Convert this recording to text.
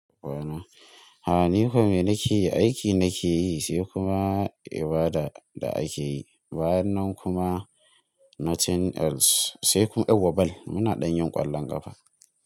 A ina? A, ni kuma me nake yi, aiki nake yi, sai kuma ibada da ake yi. Bayan nan kuma nothing else, sai kuma, eh yauwa ball, muna ɗan yin ƙwallon ƙafa.